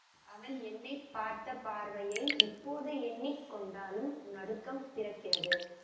அவள் என்னை பார்த்த பார்வையை இப்போது எண்ணி கொண்டாலும் நடுக்கம் பிறக்கிறது